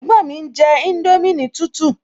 Ẹ̀gbọ́n mi ń jẹ indomie ní tútù